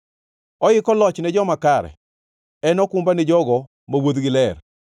Oiko loch ni joma kare, en okumba ni jogo ma wuodhgi ler,